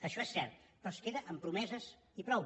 això és cert però es queda en promeses i prou